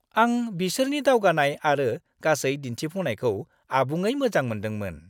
आं बिसोरनि दावगानाय आरो गासै दिन्थिफुंनायखौ आबुङै मोजां मोनदोंमोन।